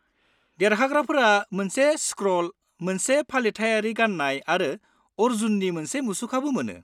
-देरहाग्राफोरा मोनसे स्क्र'ल, मोनसे फालिथायारि गाननाय आरो अर्जुननि मोनसे मुसुखाबो मोनो।